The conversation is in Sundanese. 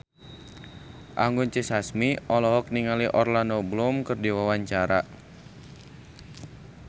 Anggun C. Sasmi olohok ningali Orlando Bloom keur diwawancara